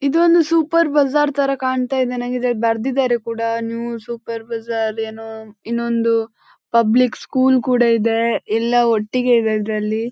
ಇದಂತೂ super bazaar ತರ ಕಣ್ತಯಿದೆ ನನಗೆ ಇದರಲ್ಲಿ ಬರೆದಿದ್ದರೆ ಕೂಡ ನ್ಯೂ ಸೂಪರ್ ಬಜಾರ್ ಏನೋ ಇನ್ನೊಂದು ಪಬ್ಲಿಕ್ ಸ್ಕೂಲ್ ಕೂಡ ಇದೆ ಎಲ್ಲ ಒಟ್ಟಿಗೆ ಇದೆ ಇದರಲ್ಲಿ.